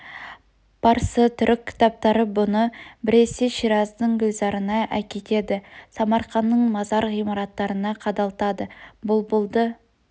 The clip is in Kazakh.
парсы түрік кітаптары бұны біресе шираздың гүлзарына әкетеді самарқанның мазар ғимараттарына қадалтады бұлбұлды